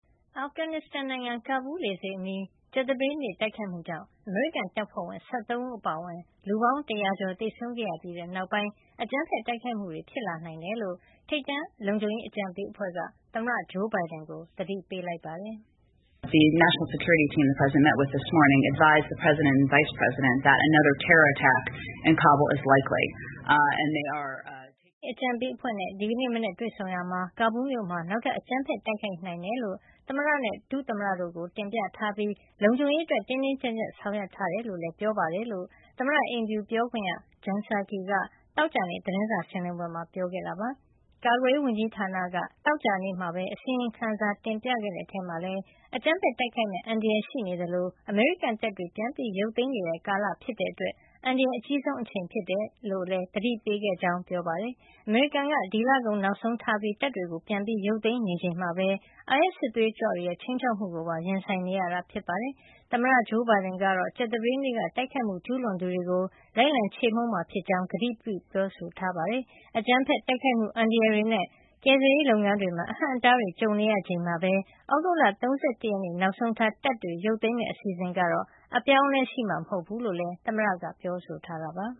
အာဖဂန်နစ္စတန်နိုင်ငံ ကဘူးလေဆိပ်အနီး ကြာသပတေးနေ့က တိုက်ခိုက်မှုကြောင့် အမေရိကန်တပ်ဖွဲ့ဝင် ၁၃ ဦး အပါအဝင် လူပေါင်း ၁၀၀ ကျော် သေဆုံးခဲ့ရပြီးနောက်ပိုင်း အကြမ်းဖက်တိုက်ခိုက်မှုတွေ ဖြစ်လာနိုင်ကြောင်း ထိပ်တန်းလုံခြုံရေး အကြံပေးအဖွဲ့က သမ္မတဂျိုးဘိုင်ဒန်ကို သတိပေးလိုက်ပါတယ်။ “အမျိုးသားလုံခြုံရေး အကြံပေးအဖွဲ့နဲ့ ဒီနေ့မနက်တွေ့ဆုံရာမှာ ကဘူးမြို့မှာ နောက်ထပ် အကြမ်းဖက် တိုက်ခိုက်နိုင်ကြောင်း သမ္မတနဲ့ ဒုသမ္မတို့ကို တင်ပြထားပြီး၊ လုံခြုံရေးအတွက် တင်းတင်းကြပ်ကြပ် ဆောင်ရွက်ထားတယ်လို့လည်း ပြောပါတယ်။” လို့ သမ္မတအိမ်ဖြူပြောခွင့်ရ Jen Psaki က သောကြာနေ့ သတင်းစာရှင်းလင်းပွဲမှာ ပြောဆိုလိုက်တာပါ။ ကာကွယ်ရေးဝန်ကြီးဌာနက သောကြာနေ့မှာပဲ အစီရင်ခံတင်ပြခဲ့တဲ့ အထဲမှာလည်း အကြမ်းဖက်တိုက်ခိုက်မယ့် အန္တရာယ် ရှိနေသလို အမေရိကန်တပ်တွေ ပြန်ရုပ်သိမ်းနေတဲ့ ကာလဖြစ်တဲ့အတွက် အန္တရာယ် အကြီးဆုံးအချိန်ဖြစ်ကြောင်း သတိပေးခဲ့တယ်လို့လည်း ပြောပါတယ်။ အမေရိကန်က ဒီလကုန် နောက်ဆုံးထားပြီး တပ်တွေကို ပြန်ရုပ်သိမ်းနေချိန်မှာပဲ အိုင်အက်စ် စစ်သွေးကြွတွေရဲ့ ခြိမ်းခြောက်မှုကိုပါ ရင်ဆိုင်နေရတာ ဖြစ်ပါတယ်။ သမ္မတဘိုင်ဒင်ကတော့ ကြာသပတေးနေ့က တိုက်ခိုက်မှု ကျုးလွန်သူတွေကို လိုက်လံခြေမှုန်းမှာဖြစ်ကြောင်း ကတိပြုပြောဆိုထားတာပါ။ အကြမ်းဖက် တိုက်ခိုက်မှု အန္တရာယ်တွေနဲ့ ကယ်ဆယ်ရေးလုပ်ငန်းတွေမှာ အဟန့်အတားတွေ ကြုံနေရချိန်မှာပဲ သြဂုတ်လ ၃၁ ရက်နေ့ နောက်ဆုံးထား တပ်တွေ ရုပ်သိမ်းမယ့် အစီအစဉ်ကတော့ အပြောင်းအလဲရှိမှာ မဟုတ်ကြောင်းလည်း သမ္မတက ပြောဆိုထားပါ